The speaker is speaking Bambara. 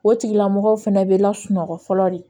O tigilamɔgɔw fɛnɛ bɛ lasunɔgɔ fɔlɔ de